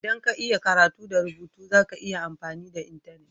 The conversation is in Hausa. ldan ka iya karatu da rubutu, za ka iya yin amfani da intenet.